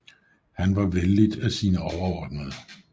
Han var vellidt af sine overordnede